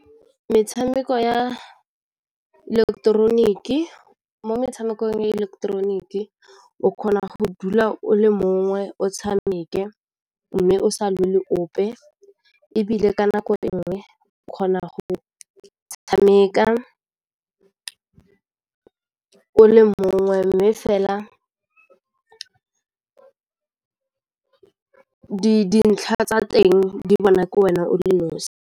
Metshameko ya ileketeroniki, mo metshamekong ya ileketeroniki o kgona go dula o le mongwe o tshameke mme o sa ope ebile ka nako enngwe o kgona go tshameka o le mongwe mme fela dintlha tsa teng di bona ke wena o le nosi.